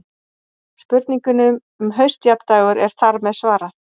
Spurningunni um haustjafndægur er þar með svarað.